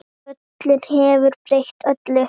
Köln hefur breytt öllu.